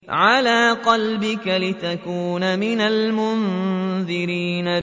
عَلَىٰ قَلْبِكَ لِتَكُونَ مِنَ الْمُنذِرِينَ